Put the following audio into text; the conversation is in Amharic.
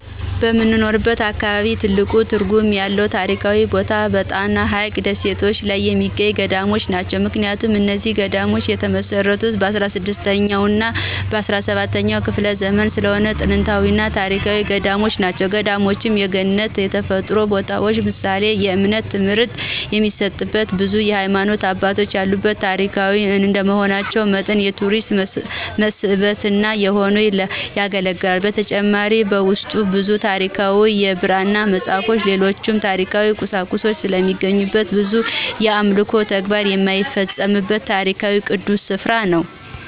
በምኖርበት አካባቢ ትልቅ ትርጉም ያለው ታሪካዊ ቦታ በጣና ሀይቅ ደሴቶች ላይ የሚገኙት ገዳማት ናቸው። ምክንያቱም እነዚህ ገዳማት የተመሰረቱት በ16ኛ እና በ17ኛ ክፍለ ዘመን ስለሆነ ጥንታዊና ታሪካዊ ገዳማት ናቸው። ገዳማቱም የገነት የተፈጥሮ ቦታዎች ምሳሌና የእምነት ትምህርት የሚሰጥበት ብዙ የሀይማኖት አባቶች ያሉበትና ታሪካዊ እንደመሆናቸው መጠን የቱሪስት መስህብነት ሆነው ያገለግላሉ። በተጨማሪም በውስጡ ብዙ ታሪካዊ የብራና መፅሃፍቶችን ሌሎችም ታሪካዊ ቁሳቁሶች ስለሚገኙ ብዙ የአምልኮ ተግባር የሚፈፀምበት ታሪካዊና ቅዱስ ስፍራ ነው።